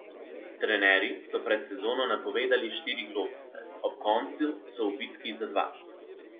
Trenerji so pred sezono napovedali štiri globuse, ob koncu so v bitki za dva.